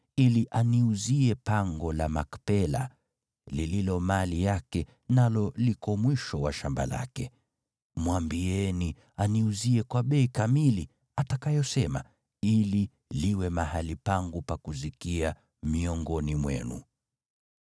ili aniuzie pango la Makpela, lililo mali yake, nalo liko mwisho wa shamba lake. Mwambieni aniuzie kwa bei kamili atakayosema ili liwe mahali pangu pa kuzikia miongoni mwenu.”